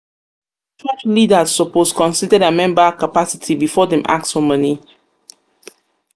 church leaders suppose consider dia member capacity before dem ask for money. money.